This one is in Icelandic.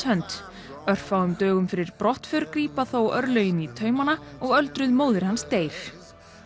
hönd örfáum dögum fyrir brottför grípa þó örlögin í taumana og öldruð móðir hans deyr